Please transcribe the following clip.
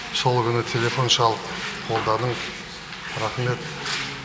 сол күні телефон шалып қолдадың рахмет